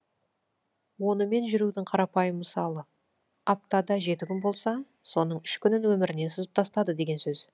онымен жүрудің қарапайым мысалы аптада жеті күн болса соның үш күнін өмірінен сызып тастады деген сөз